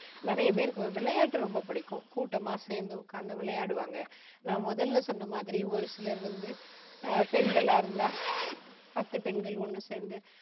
நிறைய பேருக்கு வி~விளையாட்டு ரொம்ப பிடிக்கும். கூட்டமா சேர்ந்து உக்கார்ந்து விளையாடுவாங்க. நான் முதல்ல சொன்ன மாதிரி ஒரு சிலர் வந்து பெண்களா இருந்தா, பத்து பெண்கள் ஒன்னு சேர்ந்து,